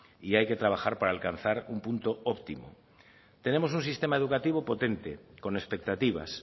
y hay que trabajar para alcanzar un punto óptimo tenemos un sistema educativo potente con expectativas